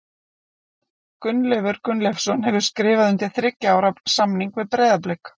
Gunnleifur Gunnleifsson hefur skrifað undir þriggja ára samning við Breiðablik.